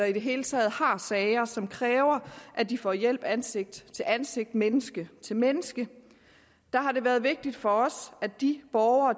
i det hele taget har sager som kræver at de får hjælp ansigt til ansigt menneske til menneske har det været vigtigt for os at de borgere